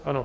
Ano.